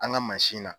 An ka mansin na